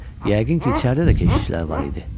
Yəqin ki, içəridə də keşikçilər var idi.